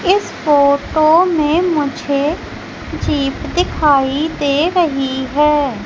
इस फोटो में मुझे जीप दिखाई दे रही है।